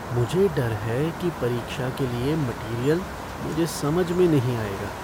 मुझे डर है कि परीक्षा के लिए मटीरियल मुझे समझ में नहीं आएगा।